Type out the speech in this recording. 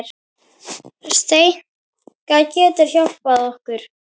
Steinka getur hjálpað okkur